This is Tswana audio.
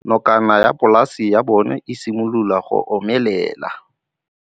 Nokana ya polase ya bona, e simolola go omelela.